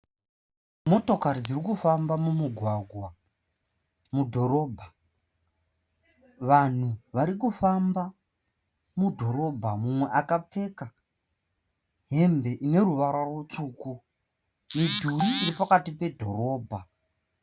Motokari dziri kufamba mumugwagwa mudhorobha. Vanhu vari kufamba mudhorobha. Mumwe akapfeka hembe ine ruvara rutsvuku. Midhuri iri pakati pedhorobha.